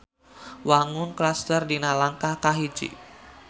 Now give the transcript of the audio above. Wangun klaster dina lengkah kahiji.